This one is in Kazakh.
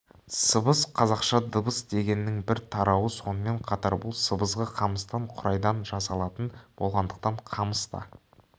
сыбыс қазақша дыбыс дегеннің бір тарауы сонымен қатар бұл сыбызғы қамыстан қурайдан жасалатын болғандықтан қамыс та